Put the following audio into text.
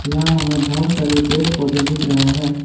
यहां हमें बहुत सारे पेड़ पौधे दिख रहे हैं।